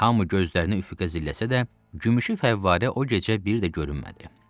Hamı gözlərini üfüqə zilləsə də, gümüşü fəvvarə o gecə bir də görünmədi.